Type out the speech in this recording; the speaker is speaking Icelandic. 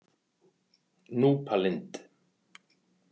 Núpalind